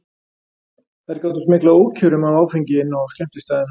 Þær gátu smyglað ókjörum af áfengi inn á skemmtistaðina.